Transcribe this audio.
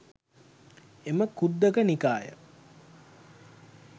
එම ඛුද්දක නිකාය